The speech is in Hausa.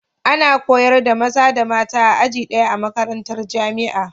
Ana koyar da maza da mata a aji daya,a makarantar jamia